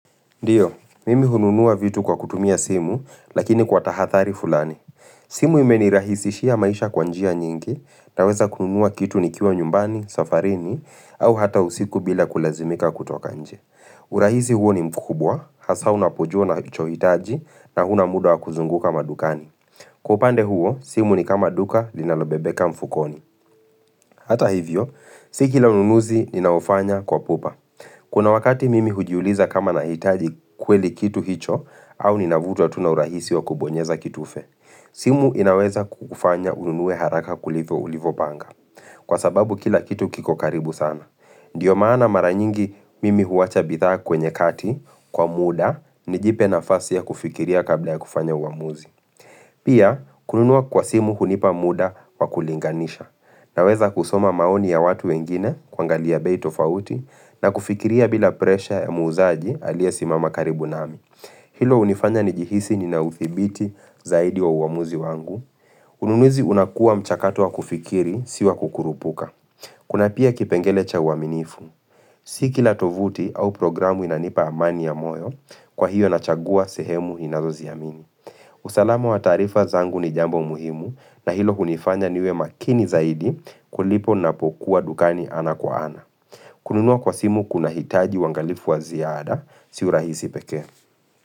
Ndio, mimi hununua vitu kwa kutumia simu, lakini kwa tahathari fulani. Simu imenirahisishia maisha kwa njia nyingi, naweza kununua kitu nikiwa nyumbani, safarini, au hata usiku bila kulazimika kutoka nje. Urahisi huo ni mkubwa, hasa unapojua unachohitaji, na huna muda wakuzunguka madukani. Kwa upande huo, simu ni kama duka, linalobebeka mfukoni. Hata hivyo, si kila ununuzi ninaofanya kwa pupa. Kuna wakati mimi hujiuliza kama nahitaji kweli kitu hicho, au ninavutwa tu na urahisi wa kubonyeza kitufe. Simu inaweza kukufanya ununue haraka kuliko ulivyopanga. Kwa sababu kila kitu kiko karibu sana. Ndio maana mara nyingi mimi huwacha bidhaa kwenye kati, kwa muda, nijipe nafasi ya kufikiria kabla ya kufanya uamuzi. Pia, kununua kwa simu hunipa muda wa kulinganisha, naweza kusoma maoni ya watu wengine kuangalia bei tofauti, na kufikiria bila presha ya muuzaji aliyesimama karibu nami. Hilo hunifanya nijihisi ninauthibiti zaidi wa uamuzi wangu. Ununuzi unakua mchakatu wa kufikiri, si wakukurupuka. Kuna pia kipengele cha uaminifu. Si kila tovuti au programu inanipa amani ya moyo, kwa hiyo nachagua sehemu ninazoziamini. Usalama wa tarifa zangu ni jambo muhimu, na hilo kunifanya niwe makini zaidi kuliko napokuwa dukani ana kwa ana. Kununua kwa simu kunahitaji uangalifu wa ziada si urahisi peke.